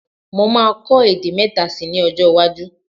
Mo máa kọ èdè mẹ́ta síi ní ọjọ́-iwájú.